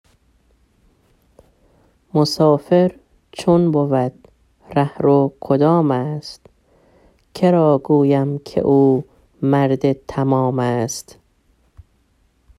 مسافر چون بود رهرو کدام است که را گویم که او مرد تمام است